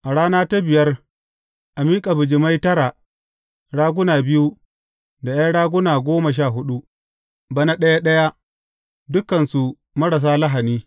A rana ta biyar a miƙa bijimai tara, raguna biyu, da ’yan raguna goma sha huɗu, bana ɗaya ɗaya, dukansu marasa lahani.